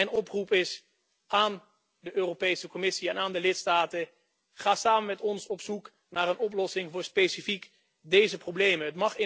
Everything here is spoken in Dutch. En mijn oproep is aan de Europese Commissie en aan de lidstaten ga samen met ons op zoek naar een oplossing voor specifiek deze problemen.